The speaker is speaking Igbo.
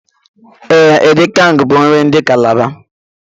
E, edikang bu nri ndi Calabar